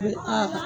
A